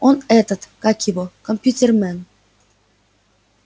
он этот как его компьютермен